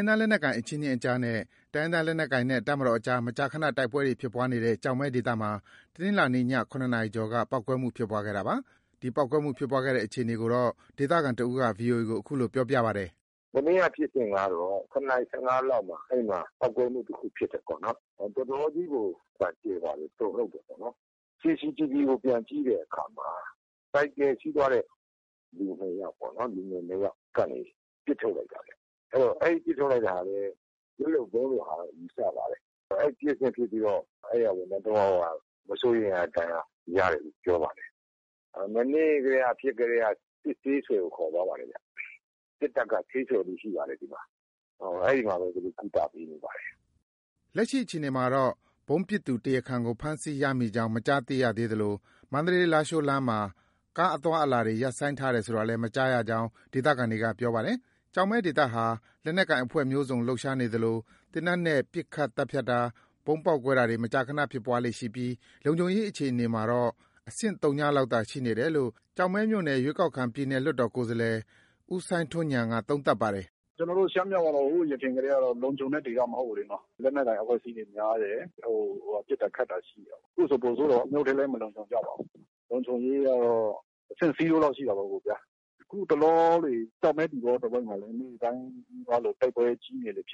င်းသားလက်နက်ကိုင်အချင်းချင်းအကြားနဲ့ တိုင်းရင်းသား လက်နက်ကိုင်နဲ့ တပ်မတော်အကြား မကြာခဏ တိုက်ပွဲဖြစ်ပွားနေတဲ့ ကျောက်မဲဒေသမှာ တနင်္လာနေ့ညနေ ၇ နာရီအကျော်က ပေါက်ကွဲမှုဖြစ်ခဲ့တာပါ။ ဒီပေါက်ကွဲမှု ဖြစ်ပွားခဲ့တဲ့အခြေအနေကို ဒေသခံတစ်ဦးက ဗွီအိုအေကို အခုလို ပြောပါတယ်။ “မနေ့က ဖြစ်စဉ်ကတော့ ၇ နာရီ ၁၅ လောက်မှာ ပေါက်ကွဲမှု တခု ဖြစ်တယ်ပေါ့နော်။ တော်တော်ကြီးကို အသံကျယ်ပါတယ်။ တုန်လှုပ်တယ်ပေါ့နော်။ CCTV ကို ပြန်ကြည့်တဲ့အခါမှာ ဆိုင်ကယ်စီးသွားတဲ့ လူနှစ်ယောက်ပေါ့နော်။ လူငယ်နှစ်ယောက်ကနေ ပစ်ထုတ်လိုက်တာပါ။ အဲဒီပစ်ထုတ်လိုက်တာလည်း လက်လုပ်ဗုံးလိုဟာလို့ ယူဆပါတယ်။ အဲဒီဖြစ်စဉ်ဖြစ်ပြီးတော့ အဲဒီ ဝန်ထမ်း သုံး ယောက်က မစိုးရိမ်ရတဲ့ဒဏ်ရာ ရတယ်လို့ ပြောပါတယ်။ မနေ့ကတည်းက ဖြစ်ကတည်းက စစ်ဆေးဆွယ်ကို ခေါ်သွားပါတယ်ခင်ဗျ။ စစ်တပ်က ဆေးဆွယ်မှူး ရှိပါတယ် ဒီမှာ။ အဲဒီမှာပဲ ကုသပေးနေပါတယ်။” လက်ရှိအခြေအနေမှာတော့ ဗုံးပစ်သူ တရားခံကို ဖမ်းဆီးရမိကြောင်း မကြားသိရသေးသလို မန္တလေး-လားရှိုးလမ်းမှာ ကားအသွားအလာတွေ ရပ်ဆိုင်းတယ်ဆိုတာလည်း မကြားရကြောင်း ဒေသခံတွေက ပြောပါတယ်။ ကျောက်မဲဒေသဟာ လက်နက်ကိုင်အဖွဲ့မျိုးစုံ လှုပ်ရှားနေသလို သေနတ်နဲ့ ပစ်ခတ်သတ်ဖြတ်တာ၊ ဗုံးပေါက်ကွဲတာတွေ မကြာခဏ ဖြစ်ပွားနေပြီး လုံခြုံရေးအခြေအနေမှာတော့ အဆင့် သုညလောက်သာ ရှိနေတယ်လို့ ကျောက်မဲမြို့နယ်က ရွေးကောက်ခံ ပြည်နယ်လွှတ်တော် ဦးစိုင်းထွန်းဉာဏ်က သုံးသပ်ပါတယ်။ “ကျနော်တို့ ရှမ်းမြောက်ကတော့ ဟိုယခင်ကတည်းကတော့ လုံခြုံတဲ့ဒေသ မဟုတ်ဘူးလေနော်။ လက်နက်ကိုင်အဖွဲ့အစည်းတွေ များတယ်။ ပစ်တာခတ်တာ ရှိတယ်ပေါ့။ ခုဆို ပိုဆိုးတာပေါ့။ မြို့ထဲလည်း မလုံခြုံကြပါဘူး။ လုံခြုံရေးကတော့ အဆင့် zero လောက်ရှိတာပေါ့ဗျာ။ အခုတလော ကျောက်မဲ၊ သီပေါတဝိုက်မှာလည်း နေ့တိုင်း နီးပါးလို တိုက်ပွဲတွေ ဖြစ်နေတာလေ။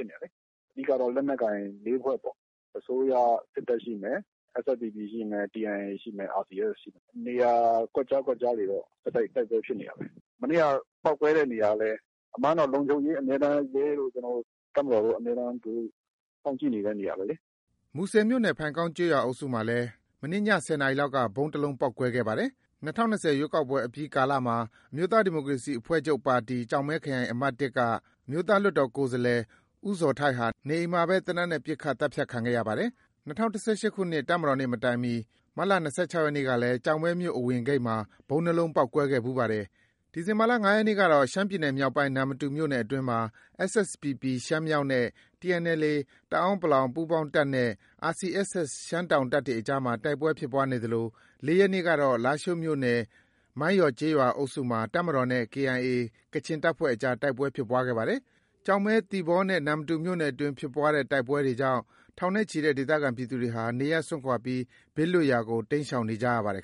အဓိက လက်နက်ကိုင် ၄ ဖွဲ့ပေါ့။ အစိုးရစစ်တပ်ရှိမယ်၊ SSPP ရှိမယ်၊ TNLA ရှိမယ်၊ RCSS ရှိမယ်။ နေရာကွက်ကြား၊ ကွက်ကြားတွေတော့ ဆက်တိုက် တိုက်ပွဲဖြစ်နေတာပဲ။ မနေ့က ပေါက်ကွဲတဲ့နေရာကလည်း အမှန်ကတော့ အမြဲတမ်း ရဲတို့၊ တပ်မတော်တို့ အမြဲတမ်း စောင့်ကြည့်နေတဲ့နေရာပဲလေ။” မူဆယ်မြို့နယ်၊ ဖိုင်ကောင်းကျေးရွာအုပ်စုမှာလည်း မနေ့ညနေ ၁၀ နာရီလောက်က ဗုံးတလုံးပေါက်ကွဲခဲ့ပါတယ်။ ၂၀၂၀ ရွေးကောက်ပွဲအပြီးကာလမှာ အမျိုးသားဒီမိုကရေစီအဖွဲ့ချုပ် ပါတီ ကျောက်မဲခရိုင်အမှတ် က အမျိုးသားလွှတ်တော် ကိုယ်စားလှယ် ဦးဇော်ထိုက်ဟာ နေအိမ်မှာပဲ သေနတ်နဲ့ ပစ်ခတ်သတ်ဖြတ်ခံခဲ့ရပါတယ်။ ၂၀၁၈ ခုနှစ် တပ်မတော်နေ့ မတိုင်မီ မတ်လ ၂၆ ရက်နေ့ကလည်း ကျောက်မဲမြို့ အဝင်ဂိတ်မှာ ဗုံး နှစ် လုံးပေါက်ကွဲခဲ့ဖူးပါတယ်။ ဒီလ ၅ ရက်နေ့ကတော့ ရှမ်းပြည်နယ်မြောက်ပိုင်း နမ္မတူမြို့နယ်အတွင်းမှာ SSPP ရှမ်းမြောက်နဲ့ TNLA တအန်း ပူးပေါင်းတပ်နဲ့ RCSS ရှမ်းတောင်တပ်တွေအကြားမှာ တိုက်ပွဲဖြစ်ပွားနေသလို ၄ ရက်နေ့ကတော့ လားရှိုးမြို့နယ် မိုင်းယော်ကျေးရွာအုပ်စုမှာ တပ်မတော်နဲ့ KIA ကချင်တပ်ဖွဲ့အကြား တိုက်ပွဲဖြစ်ပွားခဲ့ပါတယ်။ ကျောက်မဲ၊ သီပေါ၊ နမ္မတူမြို့နယ်အတွင်း ဖြစ်ပွားတဲ့တိုက်ပွဲတွေကြောင့် ထောင်နဲ့ချီတဲ့ ဒေသခံပြည်သူတွေဟာ နေရပ်စွန့်ခွာပြီး ဘေးလွတ်ရာကို တိမ်းရှောင်နေကြရပါတယ်